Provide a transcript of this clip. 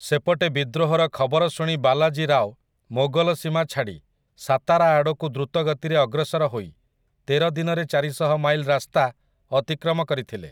ସେପଟେ ବିଦ୍ରୋହର ଖବର ଶୁଣି ବାଲାଜୀ ରାଓ ମୋଗଲ ସୀମା ଛାଡ଼ି ସାତାରା ଆଡ଼କୁ ଦ୍ରୁତ ଗତିରେ ଅଗ୍ରସର ହୋଇ ତେର ଦିନରେ ଚାରିଶହ ମାଇଲ୍ ରାସ୍ତା ଅତିକ୍ରମ କରିଥିଲେ ।